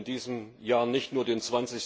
Wir feiern in diesem Jahr nicht nur den